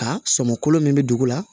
Ka sɔmolon min bɛ dugu la